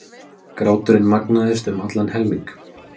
Gráturinn magnaðist um allan helming.